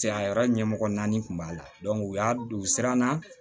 Cɛya yɔrɔ ɲɛmɔgɔ naani kun b'a la u y'a don u siranna